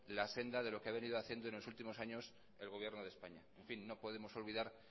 la senda de lo que ha venido haciendo en los últimos años el gobierno de españa en fin no podemos olvidar